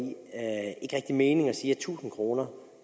i mening at sige at tusind kroner